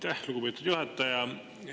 Aitäh, lugupeetud juhataja!